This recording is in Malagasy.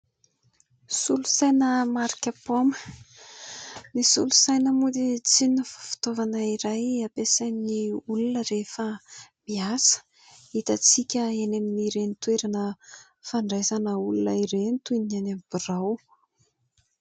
Solosaina marika paoma, ny solosaina moa dia tsy inona fa fitaovana iray ampiasain'ny olona rehefa miasa hitantsika eny amin'ireny toerana fandraisana olona ireny toy ny any amin'ny birao.